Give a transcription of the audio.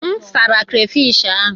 M sara krafish ahụ.